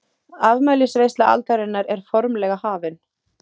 Afmælisveisla aldarinnar er formlega hafin!